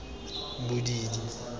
bodidi